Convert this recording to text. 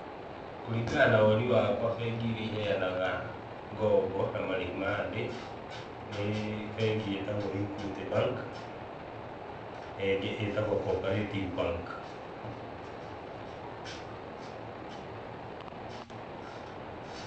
Kũringana na woni wakwa bengi iria iheyanaga ngombo, na marĩhi mathĩ, nĩ bengi ĩtagwo Equity Bank, na ĩngĩ ĩtagwo Co-operative Bank.